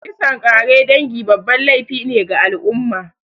Kisan kare dangi babban laify ne ga al'umma